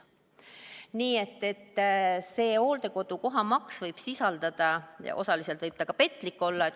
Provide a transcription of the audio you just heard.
Nii et see hooldekodukoha maksumus võib osaliselt petlik olla.